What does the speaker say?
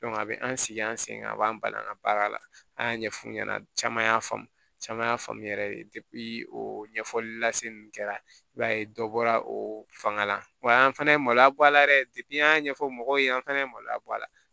a bɛ an sigi an sen kan a b'an ban an ka baara la an y'a ɲɛf'u ɲɛna caman y'a faamu caman y'a faamuya de ye o ɲɛfɔli la se nun kɛra i b'a ye dɔ bɔra o fanga la wa an fana ye maloya bɔ a la yɛrɛ an y'a ɲɛfɔ mɔgɔw ye an fɛnɛ ye maloya bɔ a la